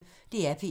DR P1